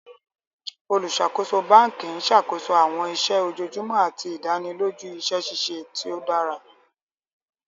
Olùṣakoso bánkì n ṣakoso awọn iṣẹ ojoojumọ̀ àti idànìlòjú iṣẹ ṣiṣẹ̀ tó dára.